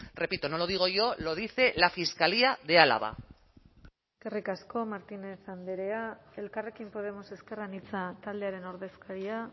repito no lo digo yo lo dice la fiscalía de álava eskerrik asko martínez andrea elkarrekin podemos ezker anitza taldearen ordezkaria